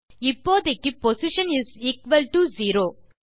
இப்போதைக்கு position is equal to 0